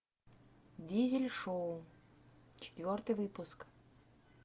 дизель шоу четвертый выпуск